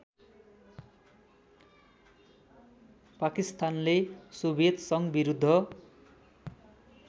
पाकिस्तानले सोभियत सङ्घविरुद्ध